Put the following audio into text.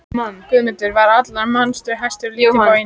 Guðmundur var allra manna hæstur en lítillega boginn í baki.